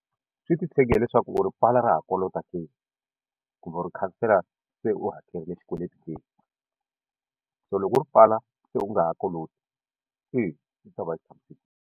Swi ti tshege hileswaku u ri pfala ra ha kolota ke kumbe u ri khansela se u hakerile xikweleti ke so loko u ri pfala se u nga ha koloti eya yi ta va yi tshamisekile.